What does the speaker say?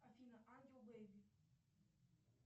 афина ангел бэйби